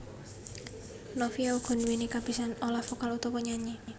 Novia uga nduwéni kabisan olah vokal utawa nyanyi